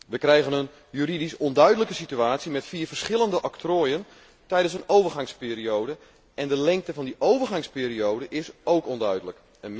We krijgen een juridisch onduidelijke situatie met vier verschillende octrooien tijdens een overgangsperiode en de lengte van die overgangsperiode is ook onduidelijk.